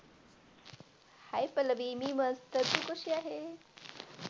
Hi Pallavi मी मस्त तू कशी आहेस.